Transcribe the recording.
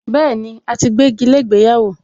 Bẹ́ẹ̀ni, a ti gbégi lé ìgbéyàwó